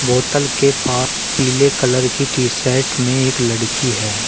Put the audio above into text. बोतल के पा पीले कलर की टी शर्ट में एक लड़की है।